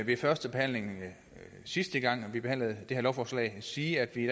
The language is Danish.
ved førstebehandlingen sidste gang vi behandlede det her lovforslag sige at vi i